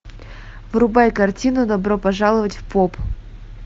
врубай картину добро пожаловать в поп